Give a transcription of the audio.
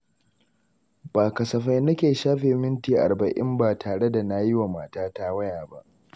Ba kasafai nake shafe minti arba’in ba tare da na yi wa matata waya ba.